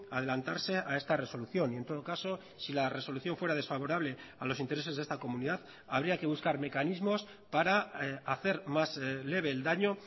adelantarse a esta resolución y en todo caso si la resolución fuera desfavorable a los intereses de esta comunidad habría que buscar mecanismos para hacer más leve el daño